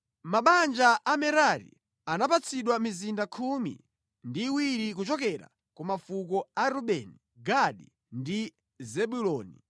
Mabanja a Merari anapatsidwa mizinda khumi ndi iwiri kuchokera ku mafuko a Rubeni, Gadi ndi Zebuloni.